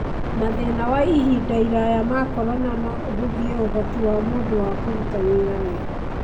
Mathĩna wa ihinda iraya ma corona no ũhũthie ũhoti wa mũndũ wa kũruta wĩra wega.